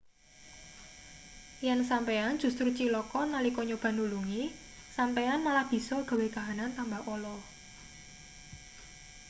yen sampeyan justru cilaka nalika nyoba nulungi sampeyan malah bisa gawe kahanan tambah ala